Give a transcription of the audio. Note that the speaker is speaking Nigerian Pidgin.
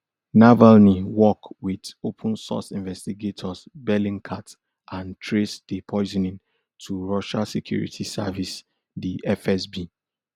navalny work wit opensource investigators bellingcat and trace di poisoning to russia security service di fsb